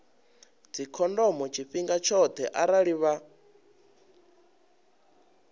dzikhondomo tshifhinga tshoṱhe arali vha